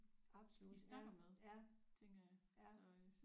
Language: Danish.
Absolut ja ja ja